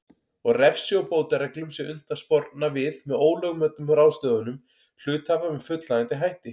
og refsi og bótareglum sé unnt að sporna við ólögmætum ráðstöfunum hluthafa með fullnægjandi hætti.